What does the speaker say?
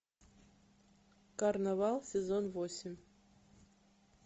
карнавал сезон восемь